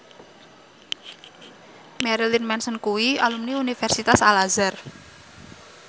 Marilyn Manson kuwi alumni Universitas Al Azhar